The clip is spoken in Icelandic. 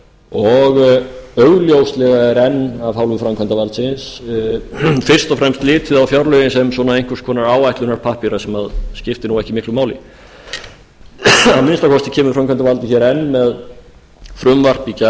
og augljóslega er en af hálfu framkvæmdarvaldsins fyrst og fremst litið á fjárlögin sem svona einhvers konar áætlunarpappíra sem skiptir ekki miklu máli að minnsta kosti kemur framkvæmdavaldið hér enn með frumvarp í gær að